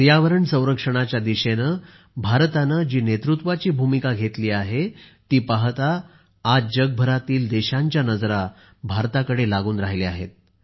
पर्यावरण संरक्षणाच्या दिशेने भारताने जी नेतृत्वाची भूमिका घेतली आहे ती पाहता आज जगभरातील देशांच्या नजरा भारताकडे लागून राहिल्या आहेत